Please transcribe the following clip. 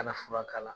Kana fura k'a la